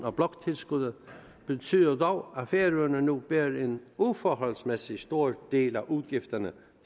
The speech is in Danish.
af bloktilskuddet betyder dog at færøerne nu bærer en uforholdsmæssig stor del af udgifterne